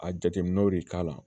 A jateminɛw de k'a la